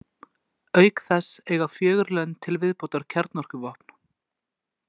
Auk þess eiga fjögur lönd til viðbótar kjarnorkuvopn.